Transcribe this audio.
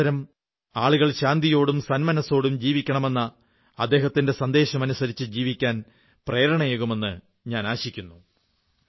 ഈ അവസരം ആളുകൾ ശാന്തിയോടും സന്മനസ്സോടും ജീവിക്കണമെന്ന അദ്ദേഹത്തിന്റെ സന്ദേശം അനുസരിച്ചു ജീവിക്കാൻ പ്രേരണയേകുമെന്ന് ഞാനാശിക്കുന്നു